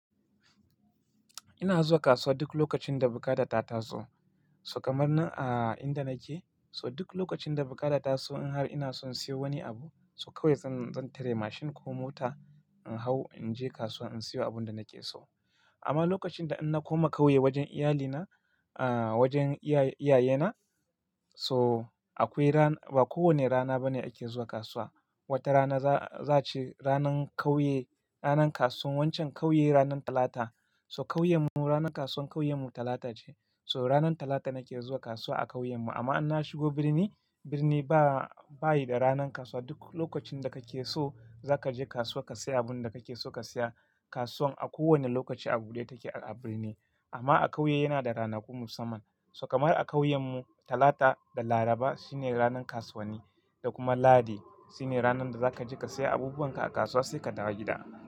Ina zuwa kasuwa duk lokacin da bukata ta taso. So kamar nan a inda nake, so duk lokacin da bukata ta taso in har ina son siyo wani abu, so kawai zan tare mashin ko mota in hau in je kasuwa in siyo abun da nake so. Amma lokacin da inna koma kawai wajen iyalina, a wajen iyayena so akwai rana, ba kowanne rana bane ake zuwa kasuwa. Wata rana za a ce ranan kauye, ranar kasuwan waccan kauye ranar talata. So kauyen mu, ranar kasuwar kauyen mu talata ce. So ranar talata nake zuwa kasuwa a kauyen mu. Amma in na shigo birni, birni ba, bashi da ranan kasuwa. Duk lokacin da kake so zaka je kasuwa ka siya abun da kake so ka siya. Kasuwan a kowanne lokaci a bude take a birni. Amma a kauye yana da ranaku musamman. So kamar a kauyen mu, talata da laraba shine ranar kasuwanni da kuma lahadi shine ranar da zaka je ka siya abubuwan ka a kasuwa sai ka dawo gida.